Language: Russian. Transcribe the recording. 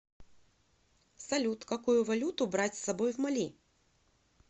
салют какую валюту брать с собой в мали